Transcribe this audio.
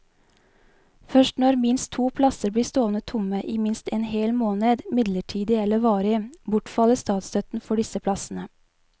Først når minst to plasser blir stående tomme i minst en hel måned, midlertidig eller varig, bortfaller statsstøtten for disse plassene.